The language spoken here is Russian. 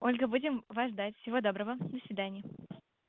ольга будем вас ждать всего доброго до свидания